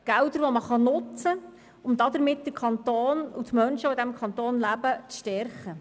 Gelder, die man nutzen kann, um damit den Kanton und die Menschen, die in diesem Kanton leben, zu stärken.